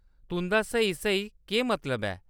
तुंʼदा स्हेई स्हेई केह्‌‌ मतलब ऐ ?